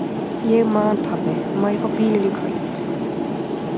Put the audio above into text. Ég man Pabbi, má ég fá bílinn í kvöld?